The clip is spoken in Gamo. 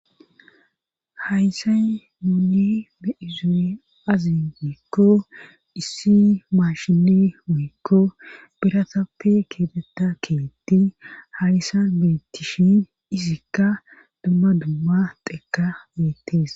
Haysay mouni be'izo'e azin wiikko issi maashine muykko biratappe keetetta keetti hayssa biittishin izikka dumma dumma teeka beettees.